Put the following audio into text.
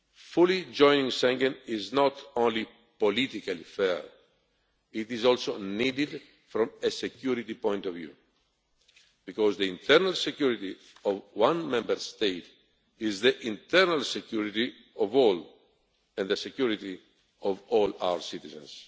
Fully joining Schengen is not only politically fair, but it is also needed from a security point of view, because the internal security of one Member State is the internal security of all and the security of all our citizens.